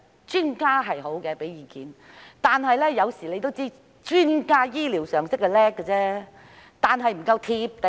專家的意見是好的，但大家都知道，專家雖然醫療常識了得，但卻不夠"貼地"。